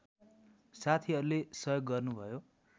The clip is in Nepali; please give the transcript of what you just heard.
साथीहरूले सहयोग गर्नुभयो